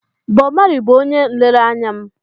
Bob Marley bụ onye nlereanya m.